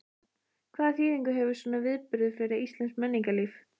Hvaða þýðingu hefur svona viðburður fyrir íslenskt menningarlíf?